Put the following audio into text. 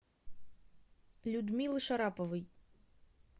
людмилы шараповой